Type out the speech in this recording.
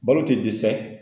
Balo tɛ dɛsɛ